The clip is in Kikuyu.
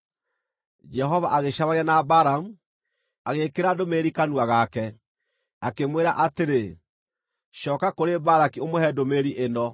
Jehova agĩcemania na Balamu, agĩĩkĩra ndũmĩrĩri kanua gake, akĩmwĩra atĩrĩ, “Cooka kũrĩ Balaki ũmũhe ndũmĩrĩri ĩno.”